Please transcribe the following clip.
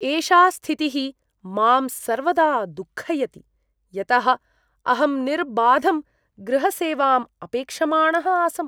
एषा स्थितिः मां सर्वदा दुःखयति, यतः अहं निर्बाधं गृहसेवाम् अपेक्षमाणः आसम्।